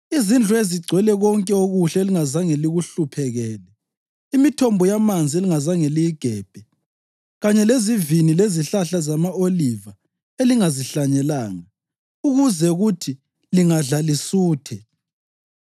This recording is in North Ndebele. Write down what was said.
izindlu ezigcwele konke okuhle elingazange likuhluphekele, imithombo yamanzi elingazange liyigebhe, kanye lezivini lezihlahla zama-oliva elingazihlanyelanga, ukuze kuthi lingadla lisuthe,